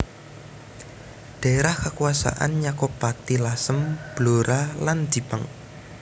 Dhaérah kakuwasan nyakup Pati Lasem Blora lan Jipang